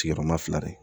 Sigiyɔrɔma fila de